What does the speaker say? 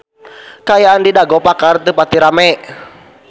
Kaayaan di Dago Pakar teu pati rame